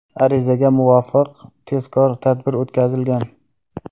Arizaga muvofiq tezkor tadbir o‘tkazilgan.